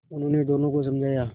उन्होंने दोनों को समझाया